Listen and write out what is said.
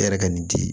E yɛrɛ ka nin di